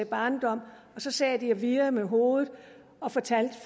barndom så sad de og virrede med hovedet og fortalte